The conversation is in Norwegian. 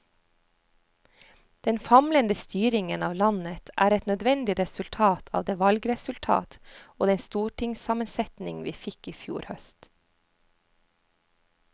Den famlende styringen av landet er et nødvendig resultat av det valgresultat og den stortingssammensetning vi fikk i fjor høst.